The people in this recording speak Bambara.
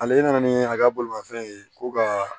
Ale nana ni a ka bolimanfɛn ye ko ka